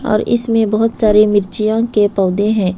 और इसमें बहुत सारी मिर्चियों के पौधे हैं।